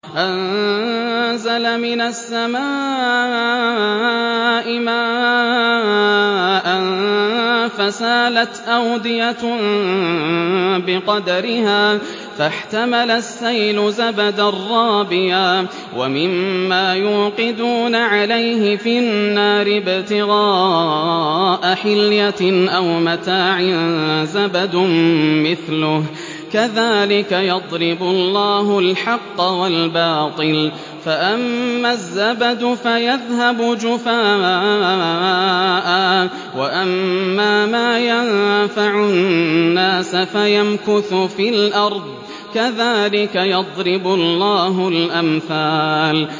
أَنزَلَ مِنَ السَّمَاءِ مَاءً فَسَالَتْ أَوْدِيَةٌ بِقَدَرِهَا فَاحْتَمَلَ السَّيْلُ زَبَدًا رَّابِيًا ۚ وَمِمَّا يُوقِدُونَ عَلَيْهِ فِي النَّارِ ابْتِغَاءَ حِلْيَةٍ أَوْ مَتَاعٍ زَبَدٌ مِّثْلُهُ ۚ كَذَٰلِكَ يَضْرِبُ اللَّهُ الْحَقَّ وَالْبَاطِلَ ۚ فَأَمَّا الزَّبَدُ فَيَذْهَبُ جُفَاءً ۖ وَأَمَّا مَا يَنفَعُ النَّاسَ فَيَمْكُثُ فِي الْأَرْضِ ۚ كَذَٰلِكَ يَضْرِبُ اللَّهُ الْأَمْثَالَ